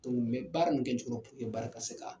Dɔnku mɛ baara in bɛkɛtogo purke baara in ka se ka ka